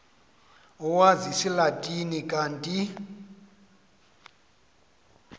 owazi isilatina kanti